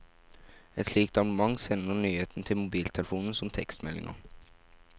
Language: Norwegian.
Et slikt abonnement sender nyhetene til mobiltelefonen som tekstmeldinger.